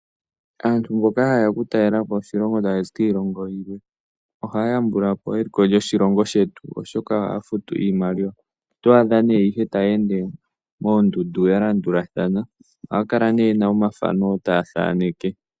Aantu mboka ha ye ya oku talela po oshilongo shetu ta ya zi kiilongo yi ili noyi ili ohaya yambula po eliko lyoshilongo shetu, oshoka ohaya futu iimaliwa. Oto adha taya ende moondundu ya landulathana yo ye na omathano taya thaneke.